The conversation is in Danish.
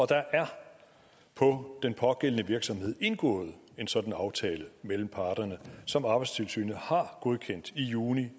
der er på den pågældende virksomhed indgået en sådan aftale mellem parterne som arbejdstilsynet har godkendt i juni